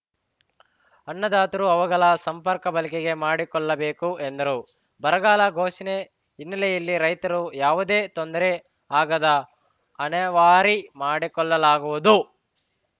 ಅನ್ನದಾತರು ಅವುಗಳ ಸಮರ್ಪಕ ಬಳಕೆ ಮಾಡಿಕೊಳ್ಳಬೇಕು ಎಂದರು ಬರಗಾಲ ಘೋಷಣೆ ಹಿನ್ನಲೆಯಲ್ಲಿ ರೈತರಿಗೆ ಯಾವುದೇ ತೊಂದರೆ ಆಗದಂತೆ ಅಣೆವಾರಿ ಮಾಡಿಕೊಡಲಾಗುವುದು